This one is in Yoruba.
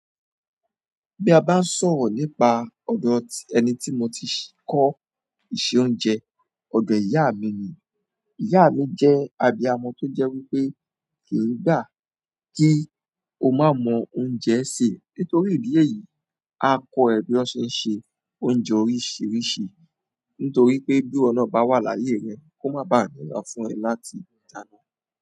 Bí a bá ń sọ̀rọ̀ nípa ọ̀dọ̀ ẹni tí mo ti kọ́ ìṣe oúnjẹ, ọ̀dọ̀ ìyá mi ni. Iya mi je abiyamo to je wípé kii gba ki o ma mo oúnjẹ se. Nítorí ìdí èyí, a kọ́ ẹ̀ bí a ṣe ń ṣe oúnjẹ oríṣiríṣi. Nítorí pé bí ọ̀nà bá wà láyé rẹ, kó má ba à nira fún ẹ láti dáná.